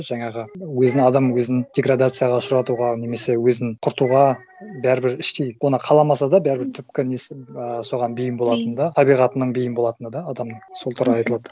жаңағы өзін адам өзін деградацияға ұшыратуға немесе өзін құртуға бәрібір іштей оны қаламаса да бәрібір түпкі несі а соған бейім болатыны да табиғатының бейім болатыны да адамның сол туралы айтылады